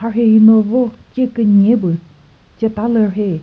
mharhe hi no vo che künyepü cheta lü rheyi.